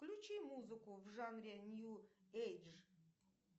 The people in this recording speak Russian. включи музыку в жанре нью эйдж